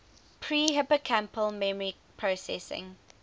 pre hippocampal memory processing